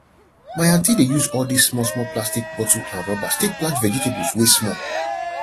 my aunty dey use all dis small small plastic bottle and rubbers take plant vegetables wey small